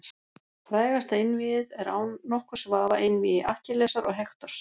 Frægasta einvígið er án nokkurs vafa einvígi Akkillesar og Hektors.